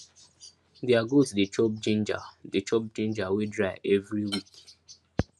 their goat dey chop ginger dey chop ginger wey dry every week